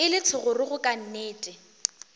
e le thogorogo ka nnete